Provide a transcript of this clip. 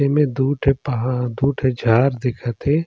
एमे दु ठी पहाड़ दु ठी झाड़ दिखा थे ।